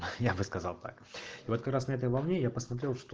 я бы сказал так вот как раз на этой волне я посмотрел что